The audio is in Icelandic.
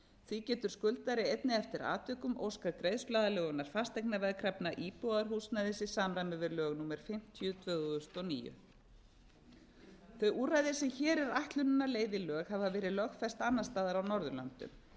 því getur skuldari einnig eftir atvikum óskað greiðsluaðlögunar fasteignaveðkrafna í íbúðarhúsnæði í samræmi við lög númer fimmtíu tvö þúsund og níu þau úrræði sem hér er ætlunin að leiða í lög hafa verið lögfest annars staðar á norðurlöndum